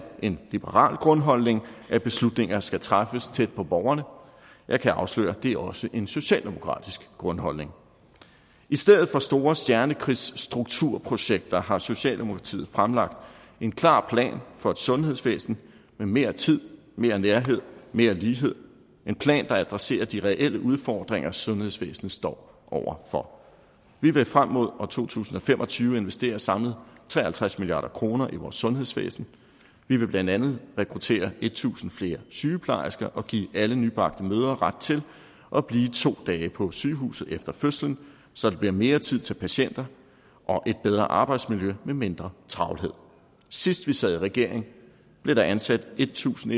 en liberal grundholdning at beslutninger skal træffes tæt på borgerne jeg kan afsløre at det også er en socialdemokratisk grundholdning i stedet for store stjernekrigsstrukturprojekter har socialdemokratiet fremlagt en klar plan for et sundhedsvæsen med mere tid mere nærhed mere lighed en plan der adresserer de reelle udfordringer som sundhedsvæsenet står over for vi vil frem mod to tusind og fem og tyve investere samlet tre og halvtreds milliard kroner i vores sundhedsvæsen vi vil blandt andet rekruttere tusind flere sygeplejersker og give alle nybagte mødre ret til at blive to dage på sygehuset efter fødslen så der bliver mere tid til patienter og et bedre arbejdsmiljø med mindre travlhed sidst vi sad i regering blev der ansat en tusind